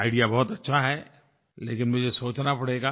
idea बहुत अच्छा है लेकिन मुझे सोचना पड़ेगा